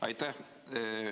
Aitäh!